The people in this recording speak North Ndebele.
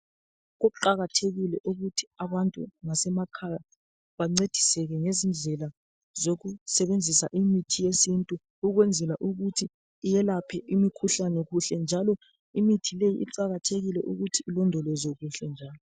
Kuqakathekile ukuthi abantu ngasemakhaya bancediseke ngezindlela zokusebenzisa imithi yesintu ukwenzela ukuthi iyelaphe imikhuhlane kuhle njalo kuqakathekile ukuthi imithieyi ilondolozwe kuhle njalo.